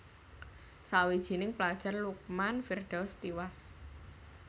Sawijining pelajar Lukman Firdaus tiwas